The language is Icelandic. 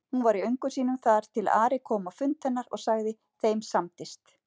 Hún var í öngum sínum þar til Ari kom á fund hennar og sagði:-Þeim samdist!